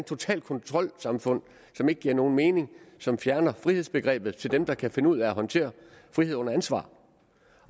totalt kontrolsamfund som ikke giver nogen mening som fjerner frihedsbegrebet til dem der kan finde ud af at håndtere frihed under ansvar